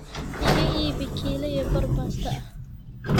iiga iibbi kila iyo bar Basta ahh